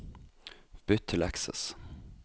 Bytt til Access